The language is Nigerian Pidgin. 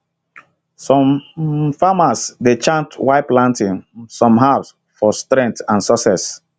some um farmers dey chant while planting um some herbs for strength and success